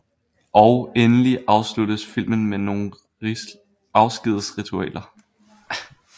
Og endelig afsluttes filmen med nogle afskedsritualer